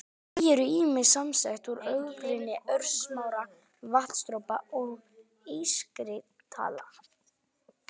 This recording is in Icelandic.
Ský eru ýmist samsett úr ógrynni örsmárra vatnsdropa eða ískristalla.